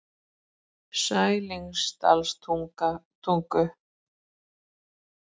Sælingsdalstungu